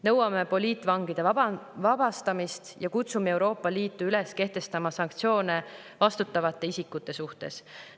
Nõuame poliitvangide vabastamist ja kutsume Euroopa Liitu üles kehtestama sanktsioone vastutavate isikute suhtes.